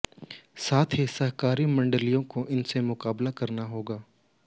साथ ही सहकारी मंडियों को इनसे मुकाबला करना होगा